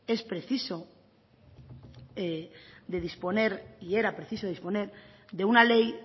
era y es preciso disponer de una ley